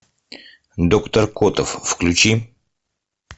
доктор котов включи